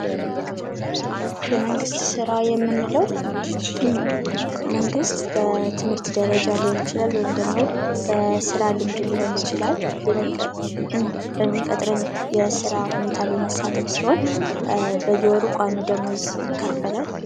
የመንግስት ስራ የምንለዉ መንግስት በትምህርት ደረጃ ሊሆን ይችላል ወይም ደግሞ በስራ ልምድ ሊሆን ይችላል። በሚቀጥረኝ የስራ ሁኔታ ላይ መሳተፍ ሲሆን በየወሩ ቋሚ ደሞዝ ይከፈላል።